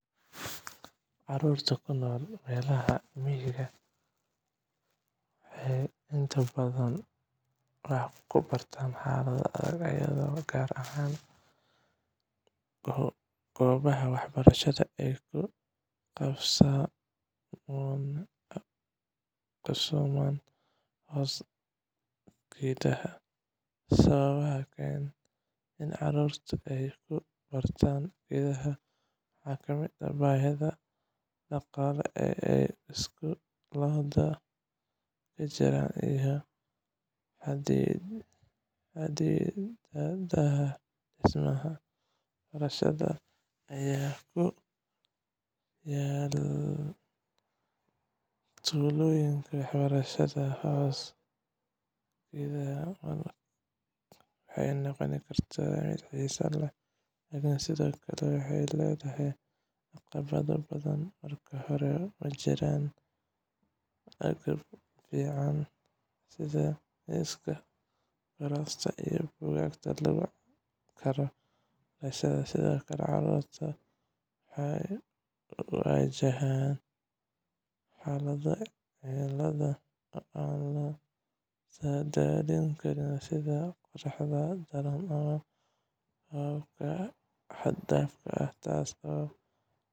Carruurta ku nool meelaha miyiga ah waxay inta badan wax ku bartaan xaalado adag, iyadoo qaar ka mid ah goobaha waxbarashadu ay ku qabsoomaan hoos geedaha. Sababaha keena in carruurtu ay ku bartaan geedaha waxaa ka mid ah baahida dhaqaale ee ay iskuulada ka jiraan, iyo xaddidaadda dhismayaasha waxbarashada ee ku yaal tuulooyinka. Waxbarashada hoos geedaha waxay noqon kartaa mid xiiso leh, laakiin sidoo kale waxay leedahay caqabado badan. Marka hore, ma jiraan agab ku filan sida miisaska, kuraasta, iyo buugaagta lagu caawin karo barashada. Sidoo kale, carruurta ayaa wajahaya xaalado cimilada oo aan la saadaalin karin, sida qoraxda daran ama roobab xad dhaaf ah, taas oo